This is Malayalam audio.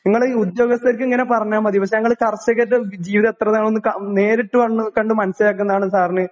ഇങ്ങളെ ഈ ഉദ്യോഗസ്ഥർക്ക് ഇങ്ങനെ പറഞ്ഞാമതി പക്ഷേ ഞങ്ങള് കർഷകർടെ ജീവിതം എത്ര തവണ ഒന്ന് കാണാ നേരിട്ട് വന്ന് കണ്ടു മനസ്സിലാക്കുന്നതാണ് സാറിന്